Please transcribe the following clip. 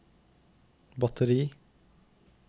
batteri